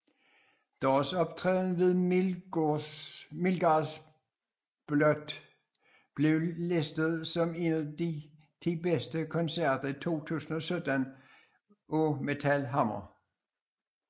Deres optræden ved Midgardsblot blev listet som en af de ti bedste koncerter i 2017 af Metal Hammer